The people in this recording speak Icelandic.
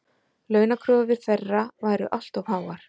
Launakröfur þeirra væru allt of háar